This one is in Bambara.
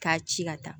K'a ci ka taa